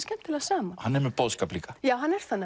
skemmtilega saman hann er með boðskap líka já hann er það